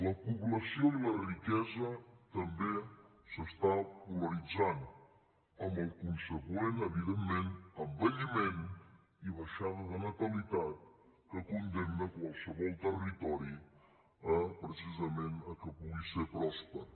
la població i la riquesa també s’està polaritzant amb el conseqüent evidentment envelliment i baixada de natalitat que condemna qualsevol territori eh precisament a que pugui ser pròsper